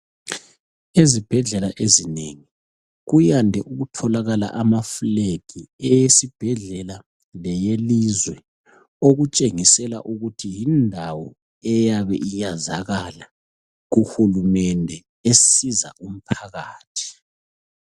Ezibhedlela ezinengi kuyande ukutholakala ama fulegi, eyesibhedlela leyelizwe. Okutshengisela ukuthi yindawo eyabe iyazakala kuhulumende esiza umphakathi.